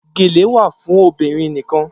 Gèlè wà fún obìnrin nikan